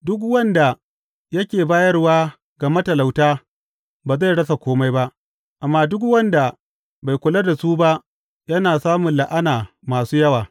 Duk wanda yake bayarwa ga matalauta ba zai rasa kome ba, amma duk wanda bai kula da su ba yana samu la’ana masu yawa.